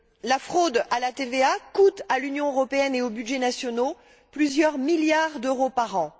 La fraude à la TVA coûte à l'Union européenne et aux budgets nationaux plusieurs milliards d'euros par an.